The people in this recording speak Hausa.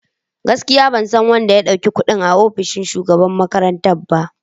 Gaskiya! Ban san wanda ya dauki kudin a ofishin shugaban makarantar ba.